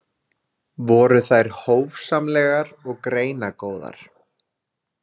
Voru þær hófsamlegar og greinagóðar.